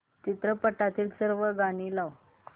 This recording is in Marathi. चित्रपटातील सर्व गाणी लाव